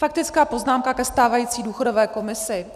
Faktická poznámka ke stávající důchodové komisi.